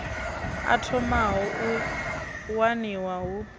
o thomaho u waniwa hu